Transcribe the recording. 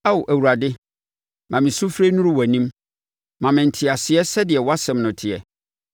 Ao Awurade, ma me sufrɛ nnuru wʼanim; ma me nteaseɛ sɛdeɛ wʼasɛm no teɛ.